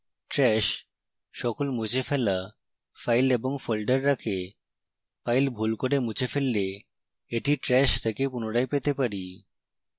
trash সকল মুছে ফেলা files এবং folders রাখে